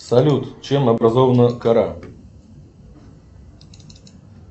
салют чем образована кора